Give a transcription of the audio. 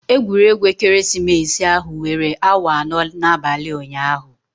Egwuregwu ekeresimesi ahụ were awa anọ n'abalị ụnyaahụ.